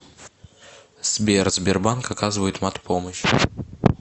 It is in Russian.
сбер сбербанк оказывает мат помощь